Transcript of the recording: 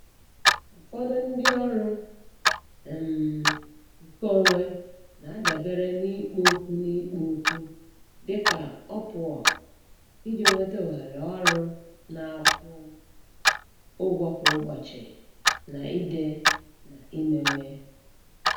Ụfọdụ ndị ọrụ um nke onwe na-adabere n'ikpo okwu n'ikpo okwu dị ka Upwork iji nweta ohere ọrụ na-akwụ ụgwọ kwa ụbọchị na ide na imewe.